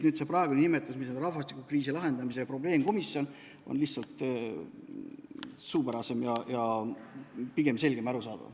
See praegune nimetus, rahvastikukriisi probleemkomisjon, on lihtsalt suupärasem, selgem ja arusaadavam.